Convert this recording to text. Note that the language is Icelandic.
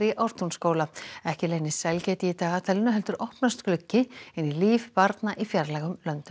Ártúnsskóla ekki leynist sælgæti í dagatalinu heldur opnast gluggi inn í líf barna í fjarlægum löndum